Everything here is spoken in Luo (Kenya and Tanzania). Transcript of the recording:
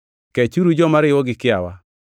Kechuru joma riwo gi kiawa,